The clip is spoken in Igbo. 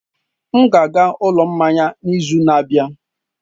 M ga-aga n'ụlọ mmanya n'izu na-abịa.